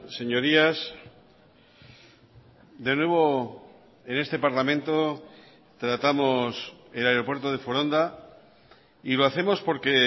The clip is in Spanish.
señorías de nuevo en este parlamento tratamos el aeropuerto de foronda y lo hacemos porque